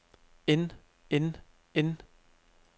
end end end